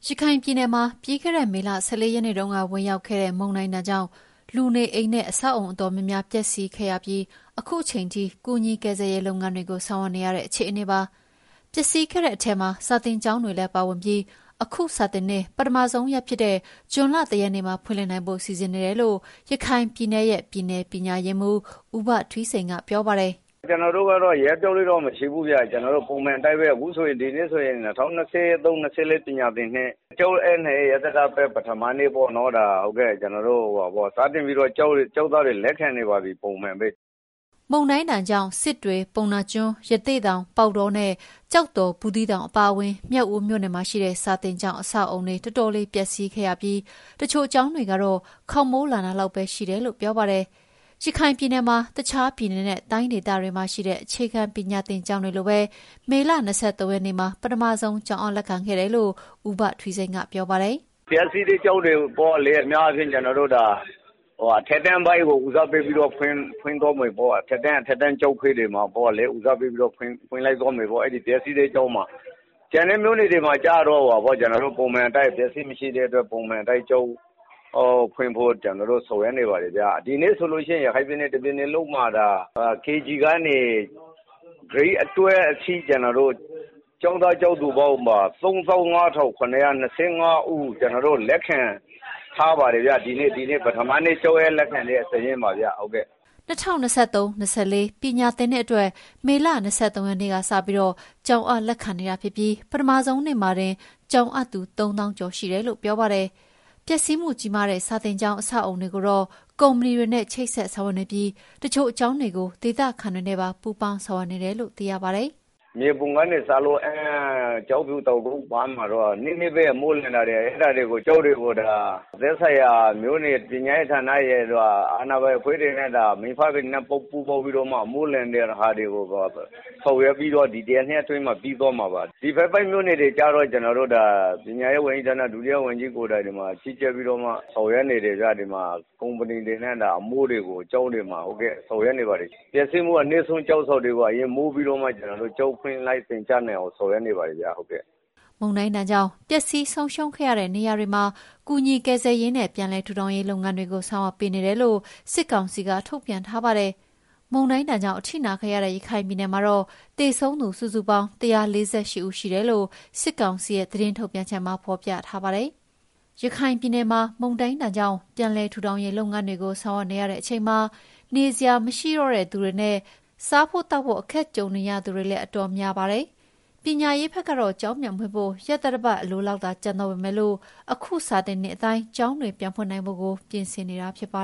ရခိုင်ပြည်နယ်မှာ ပြီးခဲ့တဲ့ မေလ (၁၄) ရက်နေ့တုန်းက ဝင်ရောက်ခဲ့တဲ့ မုန်တိုင်းဒဏ်ကြောင့် လူနေအိမ်နဲ့ အဆောက်အအုံ တော်တော်များများ ပျက်စီးခဲ့ပြီး အခုချိန်ထိ ကူညီကယ်ဆယ်ရေး လုပ်ငန်းတွေကို ဆောင်ရွက်နေရတဲ့ အခြေအနေပါ။ ပျက်စီးခဲ့တဲ့ အထဲမှာ စာသင်ကျောင်းတွေလည်း ပါဝင်ပြီး၊ အခုစာသင်နှစ် ပထမဆုံးရက်ဖြစ်တဲ့ ဇွန်လ ၁ ရက်နေ့မှာ ဖွင့်လှစ်နိုင်ဖို့ စီစဉ်နေတယ်လို့ ရခိုင်ပြည်နယ်ရဲ့ ပြည်နယ်ပညာရေးမှူး ဦးဘထွီးစိန်က ပြောပါတယ်။ "ကျနော်တို့ကတော့ ရက်အပြောင်းအလဲတော့ မရှိဘူးဗျ။ ကျနော်တို့က ပုံမှန်အတိုင်းပဲ။ ဒီနေ့ဆိုရင် ၂၀၂၃ - ၂၄ ပညာသင်နှစ် ကျောင်းအပ်နှံရေး ရက်သတ္တပတ် ပထမနေ့ပေါ့နော်။ ပုံမှန်အတိုင်းပဲ ကျောင်းသားတွေကို စတင်ပြီးတော့ ကျနော်တို့ လက်ခံနေပါပြီ။" မုန်တိုင်းဒဏ်ကြောင့် စစ်တွေ၊ ပုဏ္ဏားကျွန်း၊ ရသေ့တောင်၊ ပေါက်တောနဲ့ ကျောက်တော်၊ ဘူးသီးတောင် အပါအဝင် မြောက်ဦး မြို့နယ်မှာရှိတဲ့ စာသင်ကျောင်း အဆောက်အအုံတွေ တော်တော်လေးပျက်စီးခဲ့ပြီး၊ တချို့ကျောင်းတွေကတော့ ခေါင်မိုးလန်တာလောက်ပဲ ရှိတယ်လို့ ပြောပါတယ်။ ရခိုင်ပြည်နယ်မှာ တခြားပြည်နယ်နဲ့ တိုင်းဒေသတွေမှာရှိတဲ့ အခြေခံပညာသင် ကျောင်းတွေလိုပဲ မေလ ၂၃ ရက်နေ့မှာ ပထမဆုံး ကျောင်းအပ်လက်ခံခဲ့တယ်လို့ ဦးဘထွီးစိန်က ပြောပါတယ်။ "ပျက်စီးတဲ့ ကျောင်းတွေကိုတော့ အများအားဖြင့် အထက်တန်းပိုင်းကို ဦးစားပေးပြီးတော့ အထက်တန်းကျောင်းခွဲတွေမှာ ဖွင့်သွားမယ်ပေါ့။ ကျန်တဲ့ မြို့နယ်တွေမှာကျတော့ အပျက်အစီး မရှိတဲ့အတွက် ပုံမှန်အတိုင်း ကျောင်းဖွင့်ဖို့ ကျနော်တို့ ဆောင်ရွက်နေပါတယ်ဗျ။ ဒီနေ့ဆိုရင် ရခိုင်ပြည်နယ် တပြည်နယ်လုံးမှာ KG ကနေ Grade 12 အထိ ကျောင်းသား၊ ကျောင်းသူပေါင်း ၃၅,၇၂၅ ဦး ကျနော်တို့ လက်ခံထားပါတယ်ဗျ။ ဒီနေ့ ပထမဆုံး ကျောင်းအပ်လက်ခံတဲ့နေ့ စာရင်းပါဗျ။" ၂၀၂၃ - ၂၄ ပညာသင်နှစ်အတွက် မေလ ၂၃ ရက်နေ့ကစပြီး ကျောင်းအပ်လက်ခံနေပြီး ပထမဆုံးနေ့မှာတင် ကျောင်းအပ်သူ ၃ သောင်းကျော် ရှိတယ်လို့ ပြောပါတယ်။ ပျက်စီးမှုကြီးမားတဲ့ စာသင်ကျောင်း အဆောက်အအုံတွေကိုတော့ ကုမ္ပဏီတွေနဲ့ ချိတ်ဆက်ဆောင်ရွက်နေပြီး၊ တချို့ကျောင်းတွေကို ဒေသခံတွေနဲ့ပါ ပူးပေါင်းဆောင်ရွက်နေတယ်လို့ သိရပါတယ်။ "မြေပုံကနေစလို့ အမ်း၊ ကျောက်ဖြူ၊ တောင်ကုတ်ပိုင်းမှာတော့ နည်းနည်းပဲ အမိုးလန်တဲ့ ကျောင်းတွေကို သက်ဆိုင်ရာ မြို့နယ်ပညာရေး ဌာနရယ်၊ အာဏာပိုင် အဖွဲ့တွေနဲ့ အမိအဖတွေနဲ့ ပူးပေါင်းပြီးတော့မှ အမိုးလန်တာတွေကို ဆောင်ရွက်ပြီးတော့ ဒီ ၁ ရက်၊ ၂ ရက် အတွင်းမှာ ပြီးသွားမှာပါ။ ဒီဘက်ပိုင်း မြို့နယ်တွေကျတော့ ပညာရေးဝန်ကြီးဌာန ဒုတိယဝန်ကြီးကိုယ်တိုင် ကြီးကြပ်ပြီးတော့မှ ဆောင်ရွက်နေတယ်ဗျ။ ကုမ္ပဏီတွေနဲ့ ကျောင်းတွေမှာ အမိုးတွေကို ဆောင်ရွက်နေပါတယ်။ ပျက်စီးမှုအနည်းဆုံး ကျောင်းဆောင်တွေကို အရင်မိုးပြီးတော့မှ ကျောင်းဖွင့်ပြီး သင်ကြားနိုင်အောင် ကြိုးစားနေပါတယ်ဗျ။" မုန်တိုင်းဒဏ်ကြောင့် ပျက်စီးဆုံးရှုံးခဲ့တဲ့ နေရာဒေသတွေမှာ ကူညီကယ်ဆယ်ရေးနဲ့ ပြန်လည်ထူထောင်ရေး လုပ်ငန်းတွေကို ဆောင်ရွက်ပေးနေတယ်လို့ စစ်ကောင်စီက ထုတ်ပြန်ထားပါတယ်။ မုန်တိုင်းဒဏ်ကြောင့် အထိနာခဲ့တဲ့ ရခိုင်ပြည်နယ်မှာတော့ သေဆုံးသူစုစုပေါင်း ၁၄၈ ဦး ရှိတယ်လို့ စစ်ကောင်စီရဲ့ သတင်းထုတ်ပြန်ချက်မှာ ဖော်ပြထားပါတယ်။ ရခိုင်ပြည်နယ်မှာ မုန်တိုင်းဒဏ်ကြောင့် ပြန်လည်ထူထောင်ရေး လုပ်ငန်းတွေကို ဆောင်ရွက်နေရတဲ့ အချိန်မှာ နေစရာမရှိတော့တဲ့သူတွေနဲ့ စားသောက်ဖို့ အခက်ကြုံနေရသူတွေလည်း တော်တော်များနေပါတယ်။ ပညာရေးဘက်ကတော့ ကျောင်းပြန်ဖွင့်ဖို့ ရက်သတ္တပတ် အလိုလောက်သာ ကျန်တော့ပေမယ့် အခုနှစ် စာသင်နှစ်အတိုင်း ကျောင်းတွေပြန်ဖွင့်နိုင်ဖို့ကို ပြင်ဆင်နေတာပါ